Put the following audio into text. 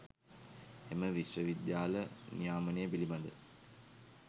එම විශ්ව විද්‍යාල නියාමනය පිළිබඳ